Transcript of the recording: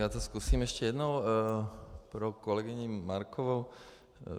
Já to zkusím ještě jednou pro kolegyni Markovou.